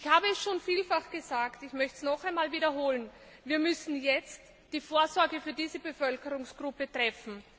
Ich habe es schon vielfach gesagt, ich möchte es noch einmal wiederholen Wir müssen jetzt die Vorsorge für diese Bevölkerungsgruppe treffen.